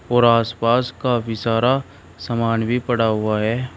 और आसपास का भी सारा सामान भी पड़ा हुआ है।